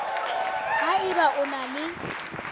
ha eba o na le